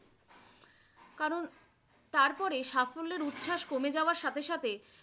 কারন তারপরে সাফল্যের উচ্ছ্বাস কমে যাওয়ার সাথে সাথেই